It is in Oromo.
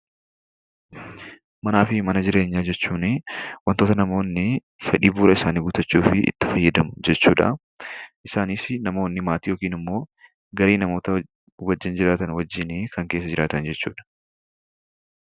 Manaa fi mana jireenyaa jechuun wantoota namoonni fedhii bu'uura isaanii guuttachuufi itti fayyadamu jechuudha. Isaanis namoonni maatii yookiin ammoo gahee namoota wajjin jiraatan wajjini kan keessa jiraatan jechuudha.